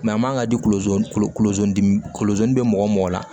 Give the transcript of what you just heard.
a man kan ka di kolo kolo dimi kolosen bɛ mɔgɔ mɔgɔ la